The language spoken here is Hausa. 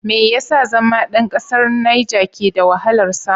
Me yasa zama ɗan ƙasar Nijer ke da wahalar samu?